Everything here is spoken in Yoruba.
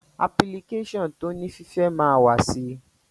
Apilikéṣọ̀n toní fífẹ́ ma wà sì